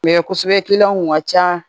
kosɛbɛ kiliyanw kun ka can